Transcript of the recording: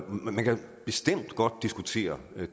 man kan bestemt godt diskutere